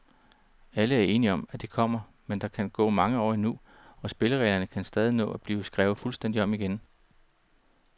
Alle er enige om, at det kommer, men der kan gå mange år endnu, og spillereglerne kan stadig nå at blive skrevet fuldstændigt om, igen.